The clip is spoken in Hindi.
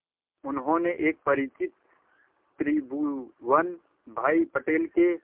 उन्होंने एक परिचित त्रिभुवन भाई पटेल के